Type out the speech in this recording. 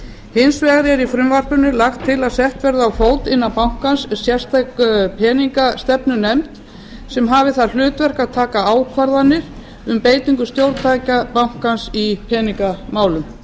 hins vegar er í frumvarpinu lagt til að sett verði á fót innan bankans sérstök peningastefnunefnd sem hafi það hlutverk að taka ákvarðanir um beitingu stjórntækja bankans í peningamálum